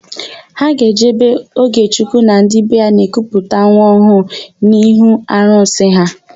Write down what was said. Ha ga-eje ebe Ogechukwu na ndị be ya na-ekuputa nwa ọhụụ ha n'ihu arụsị ha.